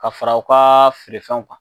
Ka fara u ka feerefɛnw kan